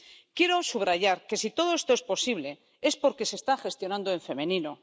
Quiero subrayar que si todo esto es posible es porque se está gestionando en femenino.